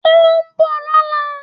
Ó ń bọ̀ lọ́la